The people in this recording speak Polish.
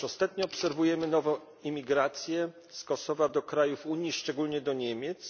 Otóż ostatnio obserwujemy nową imigrację z Kosowa do krajów Unii, szczególnie do Niemiec.